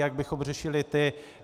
Jak bychom řešili ty?